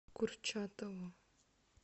курчатову